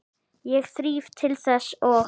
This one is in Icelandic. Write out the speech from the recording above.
Ég þríf til þess og